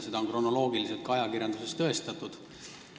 Seda on kronoloogiliselt ka ajakirjanduses tõestatud.